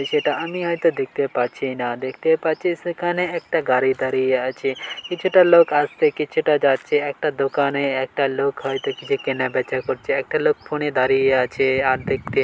সেটা আমি হয়তো দেখতে পাচ্ছি না দেখতে পাচ্ছি সেখানে একটা গাড়ি দাঁড়িয়ে আছে কিছুটা লোক আসছে কিছুটা যাচ্ছে। একটা দোকানে একটা লোক হয়তো কিছু কেনাবেচা করছে। একটা লোক ফোনে দাঁড়িয়ে আছে। আর দেখতে --